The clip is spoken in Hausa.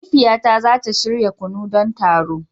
Mahaifiyata za ta shirya kunu don taron.